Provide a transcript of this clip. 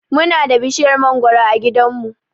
Muna da bishiyar mangoro a gidanmu.